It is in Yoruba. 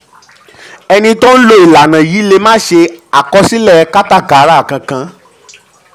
èni tó ń lo ìlànà yìí lè má ṣe àkọsílẹ̀ káta kátàkárà kan.